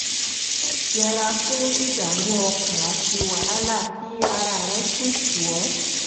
yẹra fún ìdààmú ọkàn àti wàhálà kí ara rẹ sì tù ọ́